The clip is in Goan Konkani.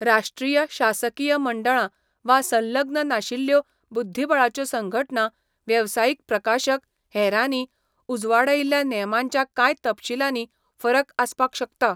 राष्ट्रीय शासकीय मंडळां, वा संलग्न नाशिल्ल्यो बुध्दिबळाच्यो संघटना, वेवसायीक प्रकाशक, हेरांनी, उजवाडायिल्ल्या नेमांच्या कांय तपशीलांनी फरक आसपाक शकता.